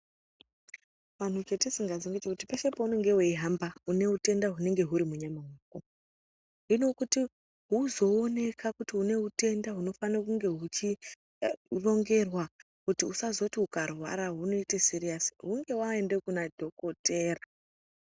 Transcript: Vantu chatisingazivi ndechekuti peshe patinohamba une hutenda unenge huri munyama mako hino kuti uzoonekwa kuti une hutenda hunofana kunge huchirongerwa kuti usazoti ukarwara hoita siriasi hunge waenda Kuna dhokodheya.